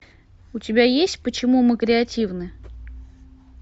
у тебя есть почему мы креативны